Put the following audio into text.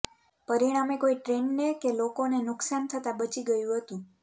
પરિણામે કોઈ ટ્રેનને કે લોકોને નુકસાન થતાં બચી ગયું હતું